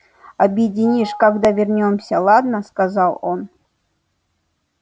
объеденишь когда вернёмся ладно сказал он